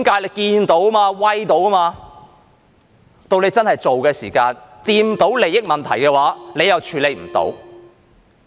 不過，到他們真的要做的時候，觸碰到利益問題，他們又處理不到。